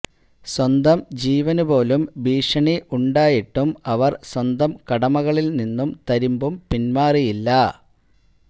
സ്വന്തം ജീവനുപോലും ഭീഷണി ഉണ്ടായിട്ടും അവര് സ്വന്തം കടമകളില് നിന്നും തരിമ്പും പിന്മാറിയില്ല